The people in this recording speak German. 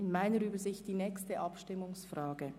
In meiner Übersicht wäre dies die nächste Abstimmungsfrage.